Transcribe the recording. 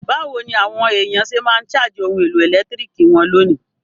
Bàwoni àwon èyàn se ma n charge oun èlò ẹ̀lẹ́ntiriki won lónìí?